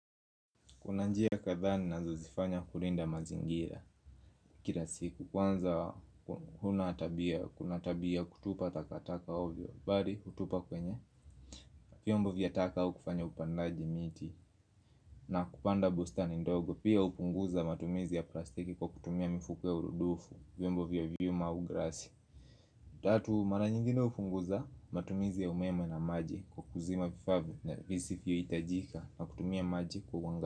Kuna njia kadhaa ninazozifanya kulinda mazingira. Kila siku. Kwanza kuna tabia ya kutupa takataka ovyo, bali hutupa kwenye vyombo vya ataka au kufanya upandaji miti. Na kupanda bustani ndogo. Pia hupunguza matumizi ya plastiki kwa kutumia mifuko ya urudufu, vyombo vya vyuma au glasi. Tatu, mara nyingine hupunguza matumizi ya umeme na maji kwa kuzima vifaa visivyiyohitajika na kutumia maji kwa.